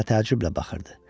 Mənə təəccüblə baxırdı.